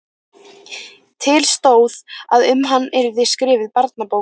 Til stóð að um hann yrði skrifuð barnabók.